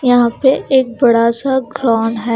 यहां पे एक बड़ा सा ग्राँड है।